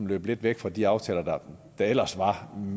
lidt væk fra de aftaler der ellers var